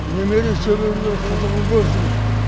немере шөберелер қызығын көрсін